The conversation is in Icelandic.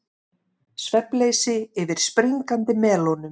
Svefnleysi yfir springandi melónum